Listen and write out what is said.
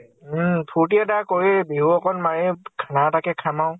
উম ।ফুৰ্তি এটা কৰেই । বিহু অকন মাৰেই । খানা এটা কে খাম আৰু ।